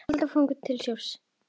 Tríó Árna Ísleifs leikur undir.